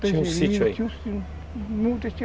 sítio